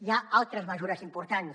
hi ha altres mesures importants